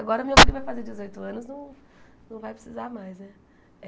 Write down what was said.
Agora meu filho vai fazer dezoito anos, não não vai precisar mais, né?